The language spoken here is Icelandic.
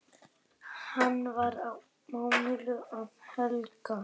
Hann var á nálum alla helgina.